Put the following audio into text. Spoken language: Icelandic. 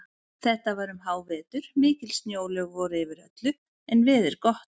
Þetta var um hávetur, mikil snjóalög voru yfir öllu en veður gott.